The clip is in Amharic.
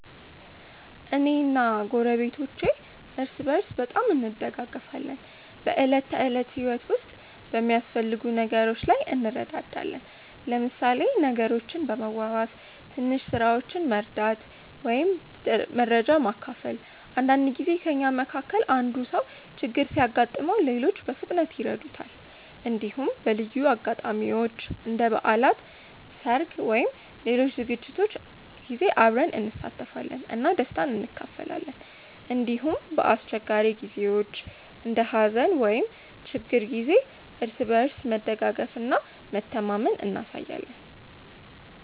እኔ እና ጎረቤቶቼ እርስ በርስ በጣም እንደጋገፋለን። በዕለት ተዕለት ህይወት ውስጥ በሚያስፈልጉ ነገሮች ላይ እንረዳዳለን፣ ለምሳሌ ነገሮችን በመዋዋስ፣ ትንሽ ስራዎችን መርዳት ወይም መረጃ መካፈል። አንዳንድ ጊዜ ከእኛ መካከል አንዱ ሰው ችግር ሲያጋጥመው ሌሎች በፍጥነት ይረዱታል። እንዲሁም በልዩ አጋጣሚዎች እንደ በዓላት፣ ሰርግ ወይም ሌሎች ዝግጅቶች ጊዜ አብረን እንሳተፋለን እና ደስታን እንካፈላለን። እንዲሁም በአስቸጋሪ ጊዜዎች እንደ ሀዘን ወይም ችግር ጊዜ እርስ በርስ መደጋገፍ እና መተማመን እናሳያለን።